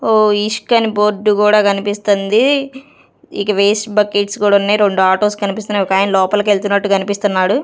ఓ ఈష్కెన్ బోర్డు కూడా కనిపిస్తుంది ఇక వేస్ట్ బకెట్స్ కూడా ఉన్నయ్ రెండు ఆటోస్ కనిపిస్తున్నాయి ఒకాయన లోపలికి వెళ్తున్నట్టు కనిపిస్తున్నాడు.